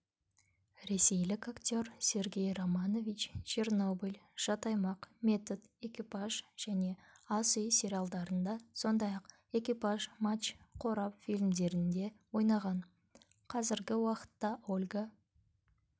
ресейлік актерсергей романович чернобыль жат аймақ метод экипаж және ас үй сериалдарында сондай-ақ экипаж матч қорап фильмдерінде ойнаған қазіргі уақытта ольга